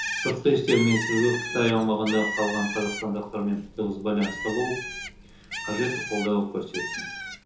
сыртқы істер министрлігі қытай аумағында қалған қазақстандықтармен тығыз байланыста болып қажетті қолдау көрсетсін